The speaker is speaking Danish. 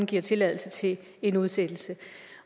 giver tilladelse til en udsættelse